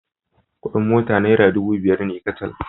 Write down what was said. Kuɗin mota naira dubu biyar ne kacal.